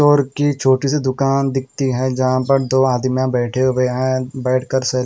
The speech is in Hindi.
लोअर की छोटी सी दुकान दिखती है जहां पर दो आदमिया बैठे हुए हैं बैठकर स--